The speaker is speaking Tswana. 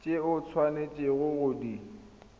tse o tshwanetseng go di